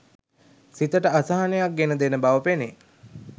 සිතට අසහනයක් ගෙන දෙන බව පෙනේ.